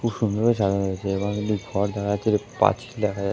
খুব সুন্দরভাবে সাজানো হয়েছে এবং ।